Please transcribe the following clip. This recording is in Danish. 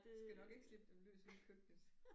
Man skal nok ikke slippe dem løs ude i køkkenet